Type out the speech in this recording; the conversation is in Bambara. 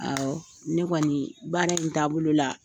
Awɔ. Ne kɔni baara in taabolo la